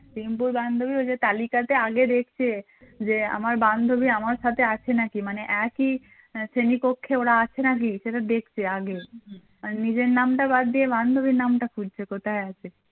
রিংকুর বান্ধবী ওই যে তালিকা তে আগে দেখছে যে আমার বান্ধবী আমার সাথে আছে নাকি মানে একই একই শ্রেণীকক্ষে ওরা আছে নাকি সেসব দেখছে আগে আগে নিজের নামটা বাদ দিয়ে বান্ধবীর নামটা খুঁজছে কোথায় আছে